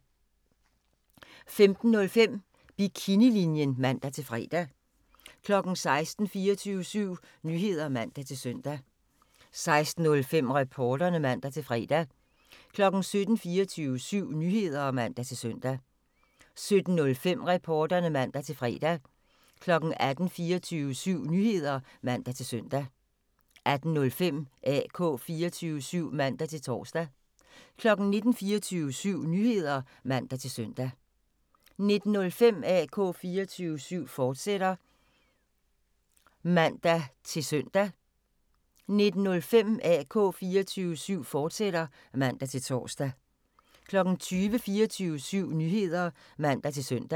15:05: Bikinilinjen (man-fre) 16:00: 24syv Nyheder (man-søn) 16:05: Reporterne (man-fre) 17:00: 24syv Nyheder (man-søn) 17:05: Reporterne (man-fre) 18:00: 24syv Nyheder (man-søn) 18:05: AK 24syv (man-tor) 19:00: 24syv Nyheder (man-søn) 19:05: AK 24syv, fortsat (man-tor) 20:00: 24syv Nyheder (man-søn)